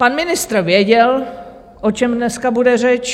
Pan ministr věděl, o čem dneska bude řeč.